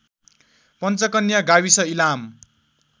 पञ्चकन्या गाविस इलाम